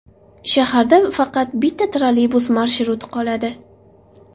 Shaharda faqat bitta trolleybus marshruti qoladi.